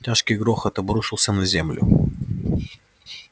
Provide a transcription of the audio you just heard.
тяжкий грохот обрушился на землю